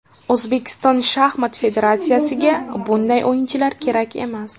O‘zbekiston shaxmat federatsiyasiga bunday o‘yinchilar kerak emas!